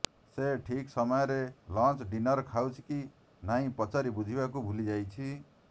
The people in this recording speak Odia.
ସେ ଠିକ୍ ସମୟରେ ଲଞ୍ଚ୍ ଡିନର ଖାଉଛି କି ନାହିଁ ପଚାରି ବୁଝିବାକୁ ଭୁଲିଯାଇଛି